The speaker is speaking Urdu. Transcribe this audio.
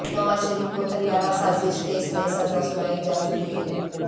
نواز شریف کو طیارہ سازش کیس میں سزا سنائی جا چکی ہے